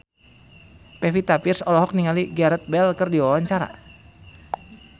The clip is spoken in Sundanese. Pevita Pearce olohok ningali Gareth Bale keur diwawancara